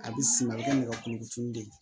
A bɛ siman kɛ nɛgɛ kuru de ye